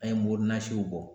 An ye mori nasiw bɔ.